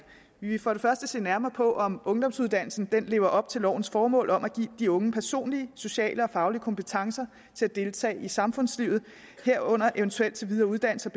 vi vil for det første se nærmere på om ungdomsuddannelsen lever op til lovens formål om at give de unge personlige sociale og faglige kompetencer til at deltage i samfundslivet herunder eventuelt til videre uddannelse